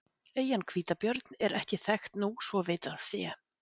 Eyjan Hvítabjörn er ekki þekkt nú svo vitað sé.